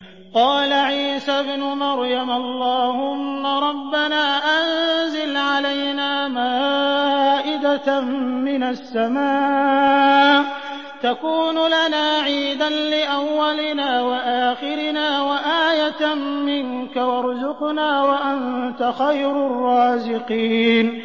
قَالَ عِيسَى ابْنُ مَرْيَمَ اللَّهُمَّ رَبَّنَا أَنزِلْ عَلَيْنَا مَائِدَةً مِّنَ السَّمَاءِ تَكُونُ لَنَا عِيدًا لِّأَوَّلِنَا وَآخِرِنَا وَآيَةً مِّنكَ ۖ وَارْزُقْنَا وَأَنتَ خَيْرُ الرَّازِقِينَ